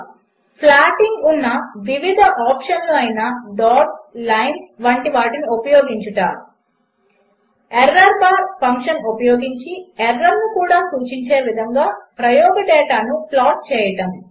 8 ప్లాటింగ్కు ఉన్న వివిధ ఆప్షన్లు అయిన డాట్స్ లైన్స్ వంటివాటిని ఉపయోగించుట 11 ఎర్రోర్బార్ ఫంక్షన్ ఉపయోగించి ఎర్రర్ను కూడ సూచించే విధంగా ప్రయోగ డేటాను ప్లాట్ చేయడము